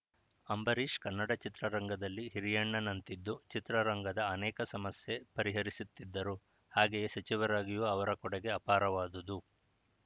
ಅಂಬರೀಶ್‌ ಕನ್ನಡ ಚಿತ್ರರಂಗದಲ್ಲಿ ಹಿರಿಯಣ್ಣನಂತಿದ್ದು ಚಿತ್ರರಂಗದ ಅನೇಕ ಸಮಸ್ಯೆ ಪರಿಹರಿಸುತ್ತಿದ್ದರು ಹಾಗೆಯೇ ಸಚಿವರಾಗಿಯೂ ಅವರ ಕೊಡುಗೆ ಆಪಾರವಾದುದು